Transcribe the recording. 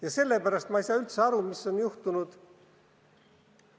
Ja sellepärast ma ei saa üldse aru, mis on juhtunud mõne inimesega.